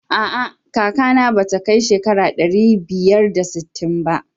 A'a kakana ba ta kai shekara ɗari biyar da sittin ba.